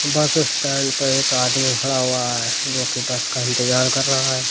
बस स्टैंड पर एक आदमी खड़ा हुआ है जो कि बस का इंतजार कर रहा है।